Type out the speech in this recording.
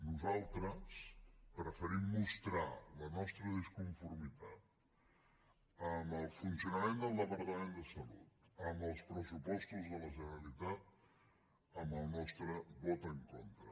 nosaltres preferim mostrar la nostra disconformitat amb el funcionament del departament de salut amb els pressupostos de la generalitat amb el nostre vot en contra